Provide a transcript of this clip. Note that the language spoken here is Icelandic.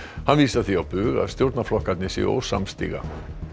hann vísar því á bug að stjórnarflokkarnir séu ósamstíga